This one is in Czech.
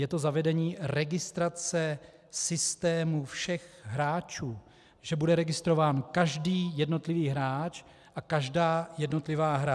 Je to zavedení registrace systému všech hráčů, že bude registrován každý jednotlivý hráč a každá jednotlivá hra.